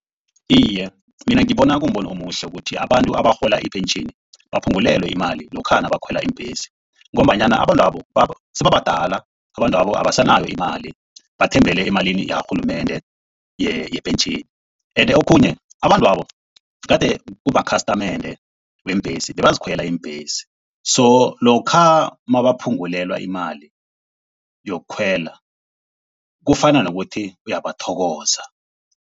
Iye, mina ngibona kumbono omuhle ukuthi abantu abarhola ipentjheni baphungulelwe imali lokha nabakhwela iimbhesi. Ngombanyana abantwabo sebabadala. Abantwabo abasanayo imali, bathembele emalini yakarhulumende yepentjheni. Ende okhunye abantwabo gade kumakhastamende weembhesi, bebazikhwela iimbhesi. So lokha nabaphungulelwa imali yokukhwela kufana nokuthi uyabathokoza.